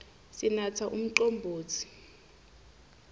sinatsa umcombotsi